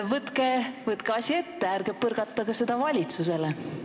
Võtke asi ette ja ärge põrgatage seda valitsusele.